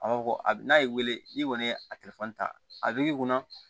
A b'a fɔ ko a n'a y'i wele n'i kɔni ye a ta a bɛ kunna